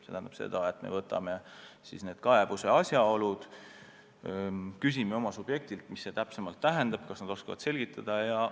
See tähendab seda, et me uurime kaebuse asjaolusid, küsime oma subjektilt, milles asi täpsemalt on, kas nad oskavad selgitada.